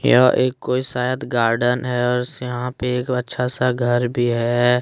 यह एक कोई शायद गार्डन है और यहां पे एक अच्छा सा घर भी है।